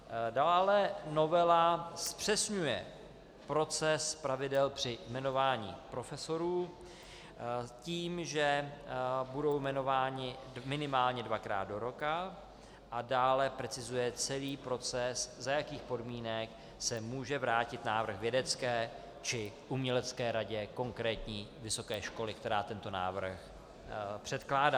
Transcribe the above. Dále novela zpřesňuje proces pravidel při jmenování profesorů tím, že budou jmenováni minimálně dvakrát do roka, a dále precizuje celý proces, za jakých podmínek se může vrátit návrh vědecké či umělecké radě konkrétní vysoké školy, která tento návrh předkládá.